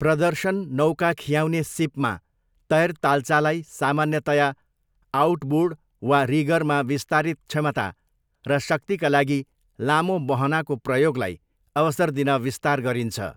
प्रदर्शन नौका खियाउने सिपमा, तैरताल्चालाई सामान्यतया आउटबोर्ड वा रिगरमा विस्तारित क्षमता र शक्तिका लागि लामो बहनाको प्रयोगलाई अवसर दिन विस्तार गरिन्छ।